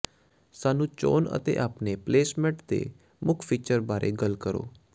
ਸਾਨੂੰ ਚੋਣ ਅਤੇ ਆਪਣੇ ਪਲੇਸਮਟ ਦੇ ਮੁੱਖ ਫੀਚਰ ਬਾਰੇ ਗੱਲ ਕਰੋ